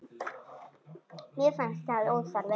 Mér fannst það óþarfi.